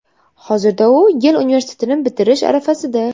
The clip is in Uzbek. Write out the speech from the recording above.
Hozirda u Yel universitetini bitirish arafasida.